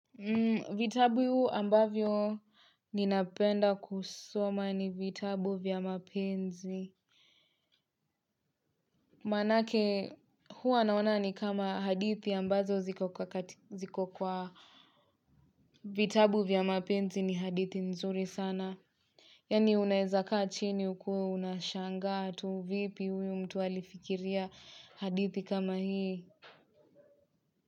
Vitabu ambavyo ninapenda kusoma ni vitabu vya mapenzi. Manake huwa naona ni kama hadithi ambazo ziko kwa katika ziko kwa. Vitabu vya mapenzi ni hadithi nzuri sana. Yani unezakaa chini ukue unashangaa tu vipi huyu mtu alifikiria hadithi kama hii.